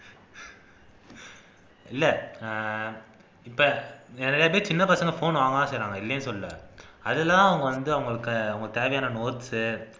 இல்லை அஹ் இப்ப நிறையப்பேர் சின்னப்பசங்க phone வாங்கத்தான் செய்றாங்க இல்லைன்னு சொல்லல அதுலதான் அவங்க வந்து அவங்களுக்கு தேவையான notes